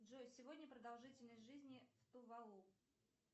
джой сегодня продолжительность жизни в тувалу